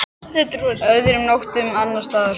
Öðrum nóttum annars staðar?